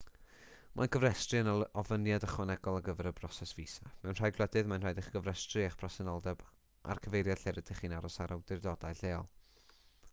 mae cofrestru yn ofyniad ychwanegol ar gyfer y broses fisa mewn rhai gwledydd mae'n rhaid i chi gofrestru eich presenoldeb a'r cyfeiriad lle rydych chi'n aros â'r awdurdodau lleol